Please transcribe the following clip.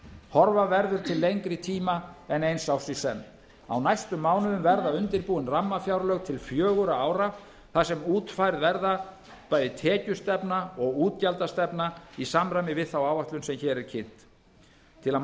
horfa verður til lengri tíma en eins árs í senn á næstu mánuðum verða undirbúin rammafjárlög til fjögurra ára þar sem útfærð verða bæði tekjustefna og útgjaldastefna í samræmi við þá áætlun sem hér er kynnt til að